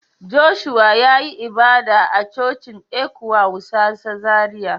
Joshua ya yi ibada a Cocin Ecwa wusasa Zaria.